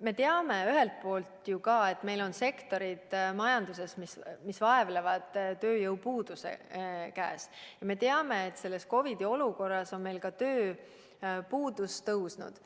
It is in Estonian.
me teame, et meil on majanduses sektorid, mis vaevlevad tööjõupuuduse käes, ja me teame, et selles COVID-i olukorras on meil ka tööpuudus tõusnud.